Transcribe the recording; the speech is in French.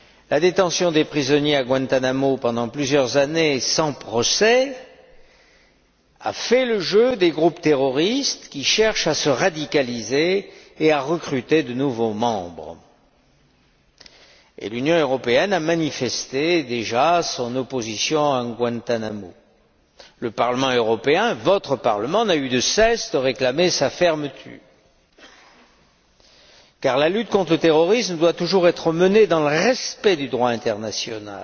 La détention des prisonniers à Guantánamo pendant plusieurs années sans procès a fait le jeu des groupes terroristes qui cherchent à se radicaliser et à recruter de nouveaux membres. L'Union européenne a déjà manifesté son opposition à Guantánamo. Le Parlement européen, votre Parlement, n'a eu de cesse de réclamer sa fermeture. Car la lutte contre le terrorisme doit toujours être menée dans le respect du droit international.